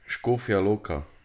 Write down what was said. Škofja Loka.